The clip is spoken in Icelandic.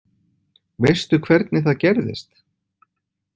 Veistu hvernig það gerðist?